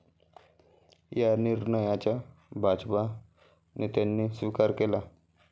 या निर्णयाचा भाजप नेत्यांनी स्विकार केला.